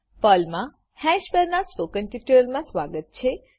પર્લમા હેશ પરનાં સ્પોકન ટ્યુટોરીયલમાં સ્વાગત છે